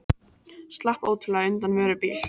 Slapp ótrúlega undan vörubíl